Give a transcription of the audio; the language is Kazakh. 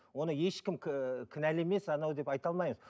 оны ешкім кінәлі емес анау деп айта алмаймыз